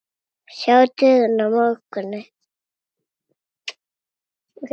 Sjá stöðuna í mótinu.